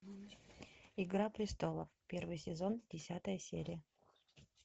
игра престолов первый сезон десятая серия